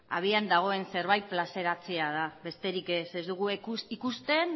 abian dagoen zerbait plazaratzea da besterik ez ez dugu ikusten